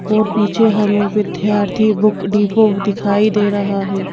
और पीछे हमें विद्यार्थी बुक डीपो दिखाई दे रहा है।